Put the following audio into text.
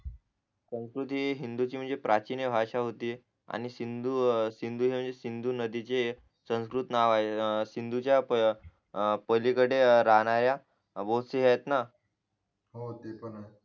संस्कृती ही हिंदूची म्हणजे प्राचीन भाषा होती आणि सिंधू सिंधू सिंधू नदीचे संस्कृत नाव आहे अं सिंधूच्या पलीकडे राहणाऱ्या वस्ती आहेत ना हो त्या पण आहे